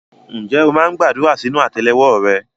Ǹjẹ́ o máa ń gbàdúrà sínú àtẹ́lẹwọ́ rẹ?